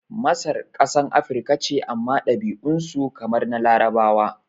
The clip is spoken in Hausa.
Masar kasan Afirika ce amma ɗabi'un su kamar na Larabawa